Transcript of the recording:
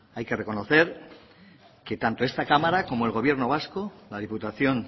hay que reconocer que tanto esta cámara como el gobierno vasco la diputación